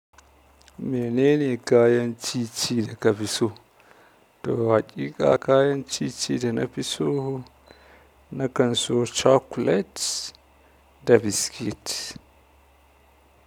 Menene kayan ci ci daga fiso? To haƙiƙa kayan ci ci da na fiso nakan su chocolate da biscuit.